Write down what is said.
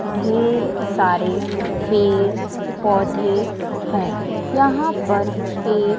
ढेर सारे पेड़ पौधे हैं यहां पर एक--